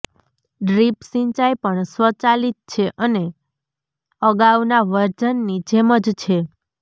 drip સિંચાઈ પણ સ્વચાલિત છે અને અગાઉના વર્ઝનની જેમ જ છે